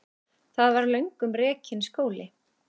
Þar var löngum rekinn skóli.